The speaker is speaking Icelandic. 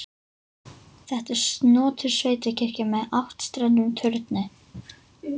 Þetta er snotur sveitakirkja með áttstrendum turni.